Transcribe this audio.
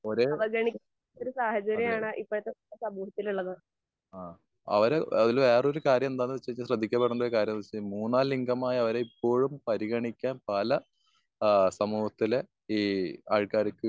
ഒര് അതെ. ആഹ്. അവര് അതില് വേറൊരു കാര്യം എന്താന്ന് വെച്ചാല് ശ്രദ്ധിക്കാൻപെടുന്ന കാര്യം എന്താന്ന് വെച്ചാല് മൂന്നാലിങ്കമായ അവരെ ഇപ്പോഴും പരിഗണിക്കാൻ പല ആഹ് സമൂഹത്തില് ഈ ആൾക്കാർക്ക്